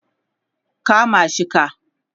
kama shi ka!